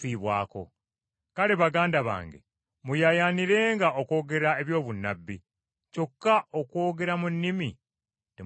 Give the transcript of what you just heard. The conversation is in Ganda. Kale baganda bange muyaayaanirenga okwogera eby’obunnabbi, kyokka okwogera mu nnimi temukuziyiza.